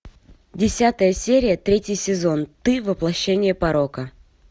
десятая серия третий сезон ты воплощение порока